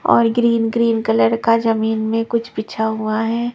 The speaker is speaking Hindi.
और ग्रीन ग्रीन कलर का जमीन में कुछ बिछा हुआ है।